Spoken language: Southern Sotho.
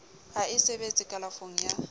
ha e sebetse kalafong ya